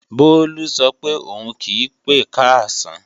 Bólú sọ pé òun kí pé káàsán